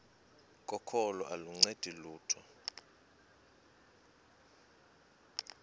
kokholo aluncedi lutho